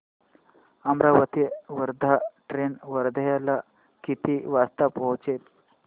Amravati Wardha train वर्ध्याला किती वाजता पोहचेल